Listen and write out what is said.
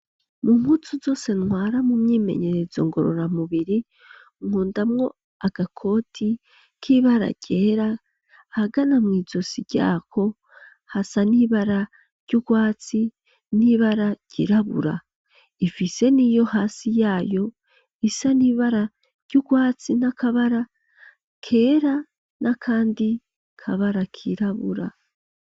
Amashuri yose baushiramwo ibibaho kugira ngo bashobure kwiga, ariko harosanga aribaho baterura bagatwara bagakuraho bakabishiraho yiyo bagomba bige bakavyimukana bishitse ukendura ishure uvira ni bakavyimukana bakabitwara nibico bituma aho abashitse hose bashobora kwiga ntano ho batari amashuri.